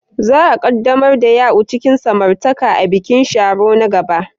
Za a ƙaddamar da Ya'u cikin samartaka a bikin Sharo na gaba.